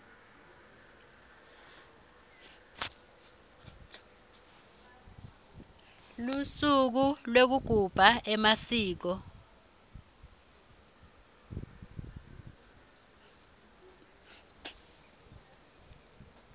lusuku lwekugabha emasiko